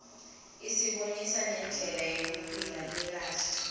isibonisa indlela yekuphila lekahle